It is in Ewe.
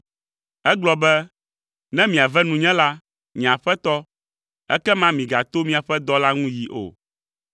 Egblɔ be, “Ne miave nunye la, nye aƒetɔ, ekema migato miaƒe dɔla ŋu yi o.